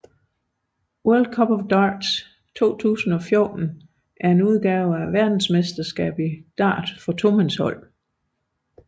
World Cup of Darts 2014 er en udgave af verdensmesterskabet i Dart for tomandshold